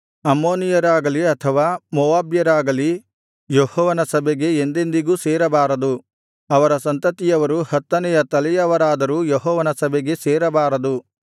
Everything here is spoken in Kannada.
ಅಮ್ಮೋನಿಯರಾಗಲಿ ಅಥವಾ ಮೋವಾಬ್ಯರಾಗಲಿ ಯೆಹೋವನ ಸಭೆಗೆ ಎಂದೆಂದಿಗೂ ಸೇರಬಾರದು ಅವರ ಸಂತತಿಯವರು ಹತ್ತನೆಯ ತಲೆಯವರಾದರೂ ಯೆಹೋವನ ಸಭೆಗೆ ಸೇರಬಾರದು